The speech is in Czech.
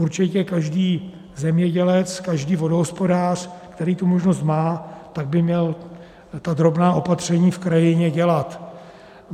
Určitě každý zemědělec, každý vodohospodář, který tu možnost má, tak by měl ta drobná opatření v krajině dělat.